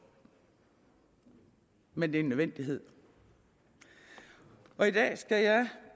men det er en nødvendighed og i dag skal jeg